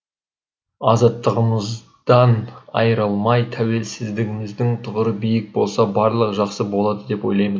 азаттығымыздан айырылмай тәуелсіздігіміздің тұғыры биік болса барлығы жақсы болады деп ойлаймын